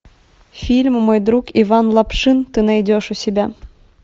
фильм мой друг иван лапшин ты найдешь у себя